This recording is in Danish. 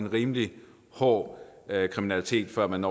rimelig hård kriminalitet før man